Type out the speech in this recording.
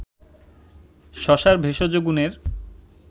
শশার ভেষজ গুনের